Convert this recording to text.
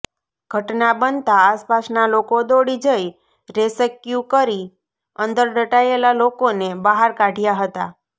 ઘટના બનતા આસપાસના લોકો દોડી જઇ રેસ્ક્યૂ કરી અંદર દટાયેલા લોકોને બહાર કાઢયા હતા